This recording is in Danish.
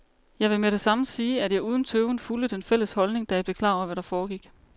Jeg vil med det samme sige, at jeg uden tøven fulgte den fælles holdning, da jeg blev klar over, hvad der foregik.